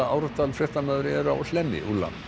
Árdal fréttamaður er á Hlemmi